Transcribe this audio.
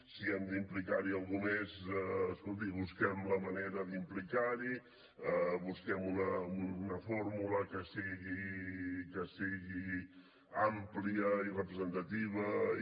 si hem d’implicar hi algú mes escolti busquem la manera d’implicar l’hi busquem una fórmula que sigui àmplia i representativa i